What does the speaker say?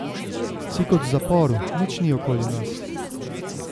Si kot v zaporu, nič ni okoli nas.